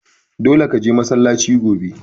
Dole ka je masallaci gobe!